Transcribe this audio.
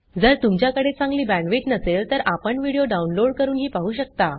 जर तुमच्याकडे चांगली बॅण्डविड्थ नसेल तर आपण व्हिडिओ डाउनलोड करूनही पाहू शकता